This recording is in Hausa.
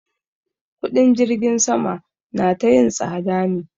Kuɗin jirgin sama na ta yin tsada ne.